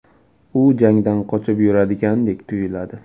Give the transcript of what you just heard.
U jangdan qochib yuradigandek tuyuladi.